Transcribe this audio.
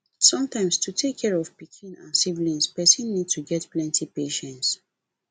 sometimes to take care of pikin and siblings person need to get plenty patience